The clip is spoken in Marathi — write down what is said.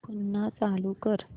पुन्हा चालू कर